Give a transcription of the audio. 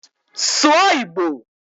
Sụọ Igbo!